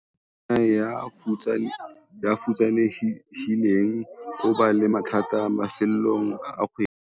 monna ya futsanehileng o ba le mathata mafelong a kgwedi